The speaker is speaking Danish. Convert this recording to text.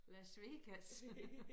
Las Vegas